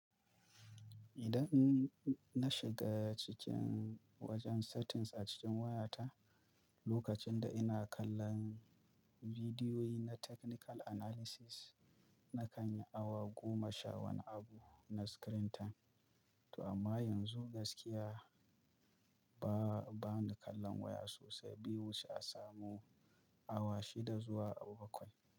Idan in na shiga cikin wajen settings a cikin wayata, lokacin da ina kallon bidiyoyi na technical analysis nakan yi awa goma sha wani abu na screen time. Toh amma yanzu gaskiya ba, bana kallon waya sosai bai wuce a samu awa shida zuwa awa bakwai.